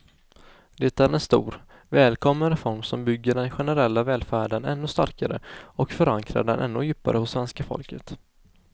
Det är en stor, välkommen reform som bygger den generella välfärden ännu starkare och förankrar den ännu djupare hos svenska folket.